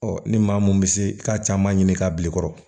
ni maa mun bɛ se i ka caman ɲini k'a bil'i kɔrɔ